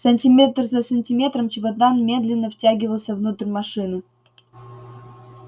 сантиметр за сантиметром чемодан медленно втягивался внутрь машины